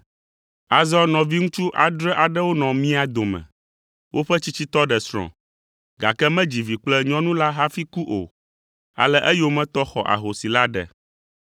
Azɔ nɔviŋutsu adre aɖewo nɔ mia dome, woƒe tsitsitɔ ɖe srɔ̃, gake medzi vi kple nyɔnu la hafi ku o, ale eyometɔ xɔ ahosi la ɖe.